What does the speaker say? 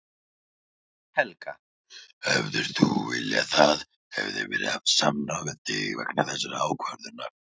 Helga: Hefðir þú viljað að það hefði verið haft samráð við þig vegna þessarar ákvörðunar?